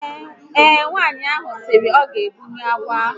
Ee, nwaanyị ahụ sịrị na ya ga egbunwu agwọ ahu